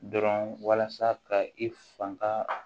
Dɔrɔn walasa ka i fanga